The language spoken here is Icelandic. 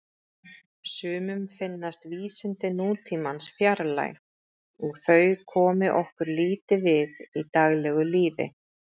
Sumum finnast vísindi nútímans fjarlæg og þau komi okkur lítið við í daglegu lífi.